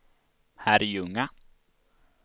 Herrljunga